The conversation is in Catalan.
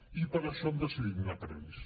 i per això han decidit anar per ells